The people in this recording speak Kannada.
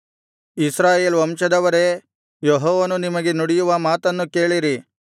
ಇಸ್ರಾಯೇಲ್ ವಂಶದವರೇ ಯೆಹೋವನು ನಿಮಗೆ ನುಡಿಯುವ ಮಾತನ್ನು ಕೇಳಿರಿ